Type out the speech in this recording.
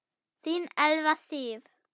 Þín Elfa Sif.